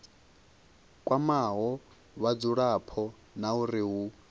kwamaho vhadzulapo na uri hu